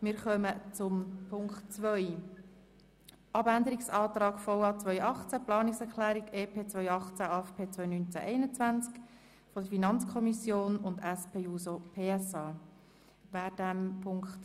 Wir kommen zu Ziffer 2: Abänderungsantrag VA 2018, Planungserklärung EP 2018, AFP 2019–2021 der FiKo-Minderheit sowie der SP-JUSO-PSA-Fraktion.